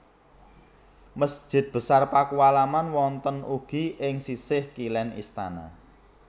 Masjid Besar Pakualaman wonten ugi ing sisih kilén istana